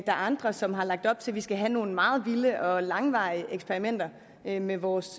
er andre som har lagt op til at vi skal have nogle meget vilde og langvarige eksperimenter med med vores